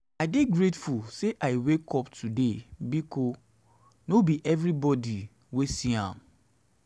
i dey grateful say i wake up today bikos no um bi evribodi wey see um am